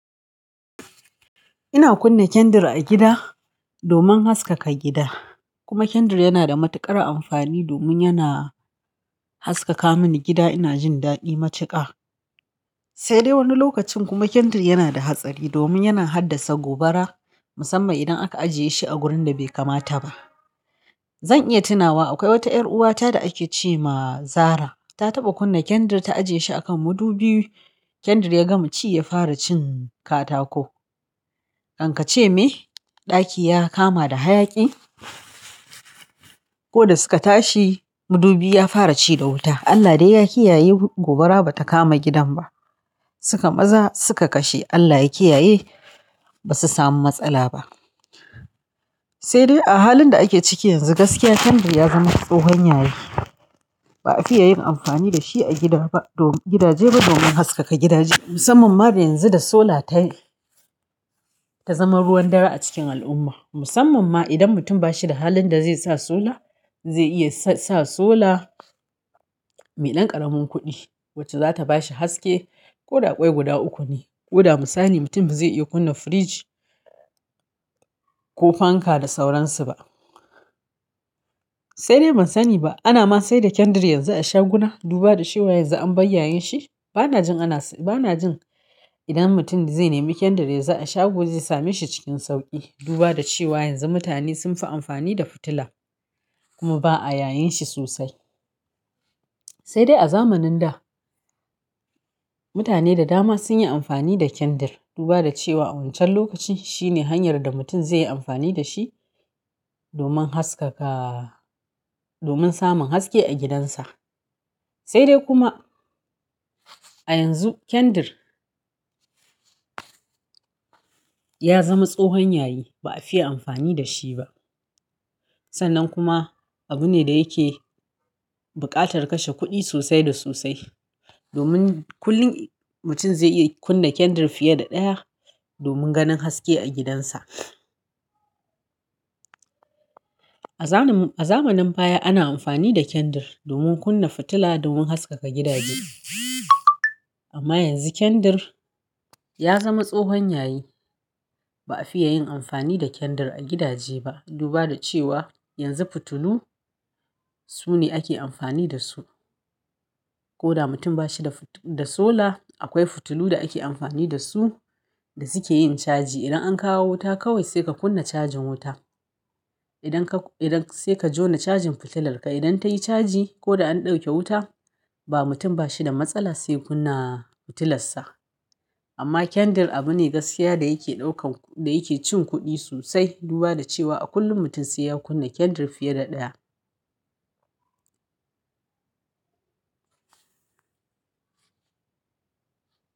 Ina kunna kendir a gida. Domin haskaka gida. Kuma kendir yana da matuƙar amfani domin yana haskaka mini gida. Ina jin daɗi matuƙa sai dai wani lokacin kuma kendir yana da hatsari domin yana haddasa gobara musamman idan aka ajiye shi a wurin da bai kamata ba. Zan iya tunawa akwai wata ƴar'uwata da ake ce ma Zahra ta taɓa kunna kendir ta ajiye shi akan madubi. Kendir ya gama ci ya fara cin katako. Kan ka ce me! Ɗaki ya kama da hayaƙi. Ko da suka tashi mudubi ya fara ci da wuta. Allah dai ya kiyaye gobara ba ta kama gidan ba. Suka maza suka kashe. Allah ya kiyaye ba su samu matsala ba. Sai dai a halin da ake ciki yanzu gaskiya kendir ya zama tsohon yayi. Ba a fiye yin amfani da shi a gida ba. Don gidaje ba domin haskaka gidaje. Musamman ma da yanzu da sola ta, ta zama ruwan dare a cikin al'umma. Musamman ma idan mutum ba shi da halin da zai sa sola, zai iya sa sola, meɗan ƙaramin kuɗi wacce za ta ba shi haske. Ko da kwai guda uku ne. Ko da mu sani mutum ba zai iya kunna firiji ko fanka da sauransu ba. Sai dai ban sani ba. Ana ma sayar da kendir yanzu a shaguna duba da cewa yanzu an bayyaye shi. Ba na jin ana s, ba na jin idan mutum zai nemi kendir yanzu a shago zai same shi cikin sauƙi. Duba da cewa yanzu mutane sun fi amfani da fitila kuma ba a yayyin shi sosai. Sai dai a zamanin da mutane da dama sun yi amfani da kendir duba da cewa a wancan lokacin shine hanyar da mutum zai yi amfani da shi domin haskaka, domin samun haske a gidansa. Sai dai kuma a yanzu kendir ya zama tsohon yayi. Ba a fiye amfani da shi ba. Sannan kuma abu ne da yake buƙatar kashe kuɗi sosai da sosai domin kullum mutum zai iya kunna kendir fiye da ɗaya domin ganin haske a gidansa. A zanin, a zamanin baya ana amfani da kendir domin kunna fitila domin haskaka gidaje. Amma yanzu kendir ya zama tsohon yayi. Ba a fiye yin amfani da kendir a gidaje ba duba da cewa yanzu fitilu su ne ake amfani da su. Ko da mutum ba shi da fit, da sola akwai fitilu da ake amfani da su da suke yin caji. Idan an kawo wuta kawai sai ka kunna cajin wuta. Idan ka, idan sai ka jona cajin fitilarka. Idan tayi caji ko da an ɗauke wuta ba mutum ba shi da matsala sai kunna fitilarsa. Amma kendir abu ne gaskiya da yake ɗaukan, da yake cin kuɗi sosai. Duba da cewa a kullum mutum sai ya kunna kendir fiye da ɗaya.